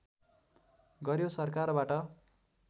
गर्‍यो सरकारबाट